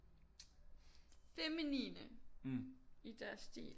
Feminine i deres stil